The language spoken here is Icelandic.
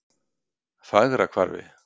Fagrahvarfi